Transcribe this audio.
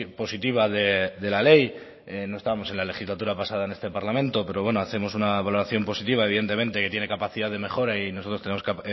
positiva de la ley no estábamos en la legislatura pasada en este parlamento pero bueno hacemos una valoración positiva evidentemente que tiene capacidad de mejora y nosotros tenemos